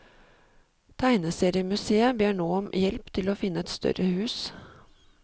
Tegneseriemuseet ber nå om hjelp til å finne et større hus.